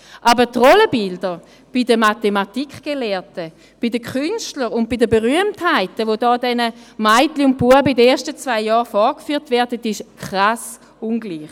Aber die Rollenbilder bei den Mathematikgelehrten, bei den Künstlern und Berühmtheiten, welche den Mädchen und Knaben in den ersten zwei Jahren vorgeführt werden, ist krass ungleich.